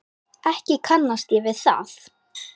Ekki kannast ég við það.